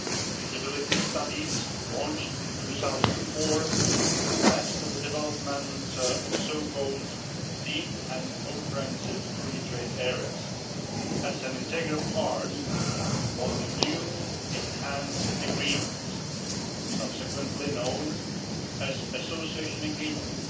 Feasibility studies launched in 2004 led to the development of so called deep and comprehensive free trade areas' as an integral part of the new enhanced agreements subsequently known as association agreements